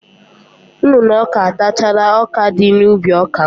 Nnụnụ ọka atachala ọkadị n'ubi ọka m.